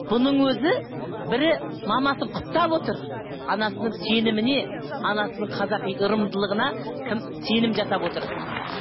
бұның өзі бірі мамасын құптап отыр анасының сеніміне анасының қазақи ырымдылығына кім сенім жасап отыр